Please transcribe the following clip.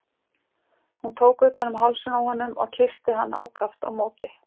Hún tók utan um hálsinn á honum og kyssti hann ákaft á móti.